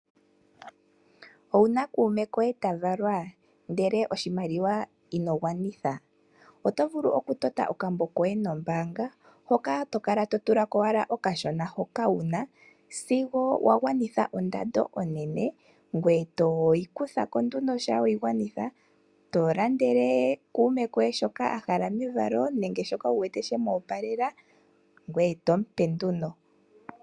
Owuna kuume koye tavalwa ndele ino gwanitha oshimaliwa? Otovulu oku tota okambo koye nombaanga hoka tokala to tulako owala okashona hoka wuna sigo wagwanitha ondando onene ngoye toyi kuthako nduno shampa wagwanitha , eto landele kuume koye shoka ahala mevalo nenge shoka wuwete shemoopalela ngoye tompe nduno.